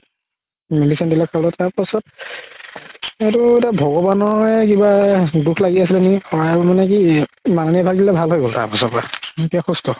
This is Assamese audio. medicine দিলে খোৱালো তাৰ পাছত সেইটো এটা ভগৱানৰে কিবা দুখ লাগি আছিলে নেকি আৰু মানে কি এতিয়া সুস্থ